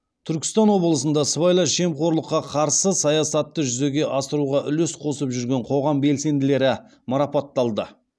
түркістан облысында сыбайлас жемқорлыққа қарсы саясатты жүзеге асыруға үлес қосып жүрген қоғам белсенділері марапатталды